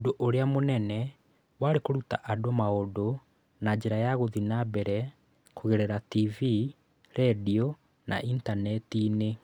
Ũndũ ũrĩa mũnene warĩ kũruta andũ maũndũ na njĩra ya gũthiĩ na mbere kũgerera TV, redio, na Intaneti-inĩ.